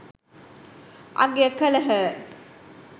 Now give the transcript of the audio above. අගය කළහ.